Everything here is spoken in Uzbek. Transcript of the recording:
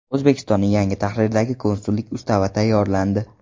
O‘zbekistonning yangi tahrirdagi Konsullik ustavi tayyorlandi.